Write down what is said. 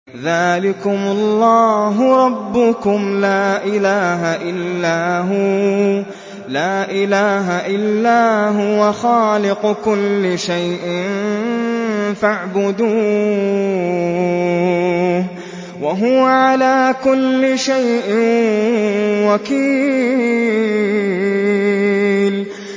ذَٰلِكُمُ اللَّهُ رَبُّكُمْ ۖ لَا إِلَٰهَ إِلَّا هُوَ ۖ خَالِقُ كُلِّ شَيْءٍ فَاعْبُدُوهُ ۚ وَهُوَ عَلَىٰ كُلِّ شَيْءٍ وَكِيلٌ